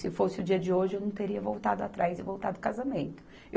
Se fosse o dia de hoje, eu não teria voltado atrás e voltado o casamento.